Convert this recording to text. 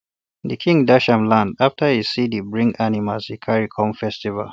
the king dash am land after e see d bring animals e carry come festival